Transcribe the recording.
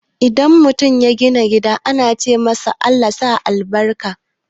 Idan mutum ya gina gida ana ce masa "ALLAH sa albarka"